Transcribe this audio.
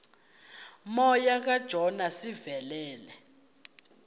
moya kajona sivelele